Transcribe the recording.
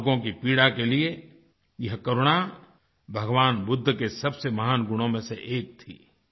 लोगों की पीड़ा के लिए यह करुणा भगवान बुद्ध के सबसे महान गुणों में से एक थी